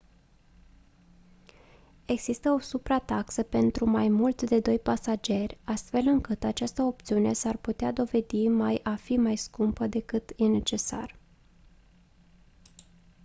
există o suprataxă pentru mai mult de 2 pasageri astfel încât această opțiune s-ar putea dovedi mai a fi mai scumpă decât e necesar